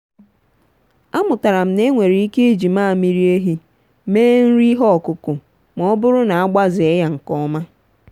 amụtara m na enwere ike iji mmamịrị ehi mee nri ihe ọkụkụ ma ọ bụrụ na agbazee ya nke ọma.